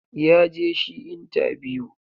ya je shi intabiyu.